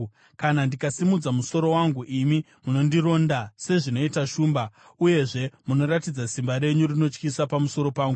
Kana ndikasimudza musoro wangu, imi munondironda sezvinoita shumba, uyezve munoratidza simba renyu rinotyisa pamusoro pangu.